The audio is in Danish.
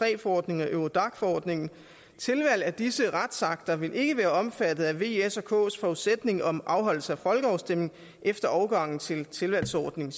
iii forordningen og eurodac forordningen tilvalg af disse retsakter vil ikke være omfattet af v s og kf’s forudsætning om afholdelse af folkeafstemning efter overgangen til tilvalgsordningen